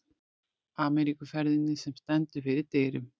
Ameríkuferðinni, sem stendur fyrir dyrum.